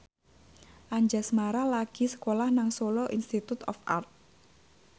Anjasmara lagi sekolah nang Solo Institute of Art